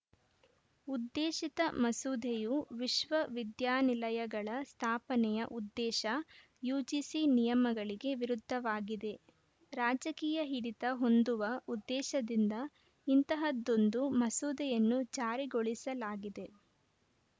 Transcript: ಉದ್ದೇಶಿತ ಮಸೂದೆಯು ವಿಶ್ವ ವಿದ್ಯಾನಿಲಯಗಳ ಸ್ಥಾಪನೆಯ ಉದ್ದೇಶ ಯುಜಿಸಿ ನಿಯಮಗಳಿಗೆ ವಿರುದ್ಧವಾಗಿದೆ ರಾಜಕೀಯ ಹಿಡಿತ ಹೊಂದುವ ಉದ್ದೇಶದಿಂದ ಇಂತಹದ್ದೊಂದು ಮಸೂದೆಯನ್ನು ಜಾರಿಗೊಳಿಸಲಾಗಿದೆ